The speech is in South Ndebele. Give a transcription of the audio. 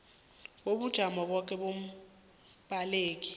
kobujamo bakho bombaleki